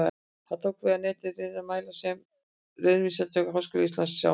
Það tók við af neti hliðrænna mæla sem Raunvísindastofnun Háskóla Íslands sá um.